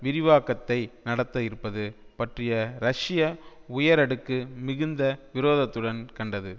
விரிவாக்கத்தை நடத்த இருப்பது பற்றிய ரஷ்ய உயரடுக்கு மிகுந்த விரோதத்துடன் கண்டது